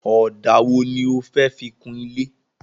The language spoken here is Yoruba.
Ọ̀dà wo ni o fẹ́ fi kun ilé?